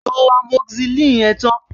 Lo amoxicillin yẹn tán!